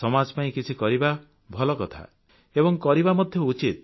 ସମାଜ ପାଇଁ କିଛି କରିବା ଭଲ କଥା ଏବଂ କରିବା ମଧ୍ୟ ଉଚିତ